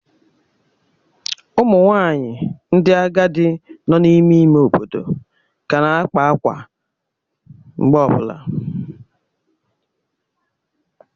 Ụmụ nwanyị ndị agadi nọ n'ime ime obodo ka na-akpa akwa mgbe ọ bụla.